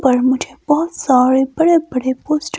पर मुझे बोहोत सारे बड़े बड़े पोस्टर --